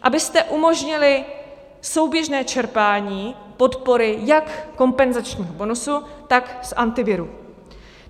Abyste umožnili souběžné čerpání podpory jak kompenzačního bonusu, tak z Antiviru.